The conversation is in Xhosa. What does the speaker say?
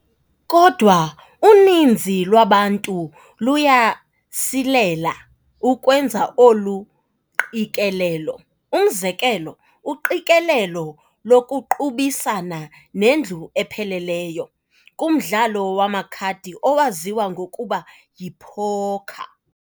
Kodwa uninzi lwabantu luyasilela ukwenza olu qikelelo, umzekelo, uqikelelo lokuqubisana nendlu ephelelyo, kumdlalo wamakhadi owaziwa ngokuba yi-porker.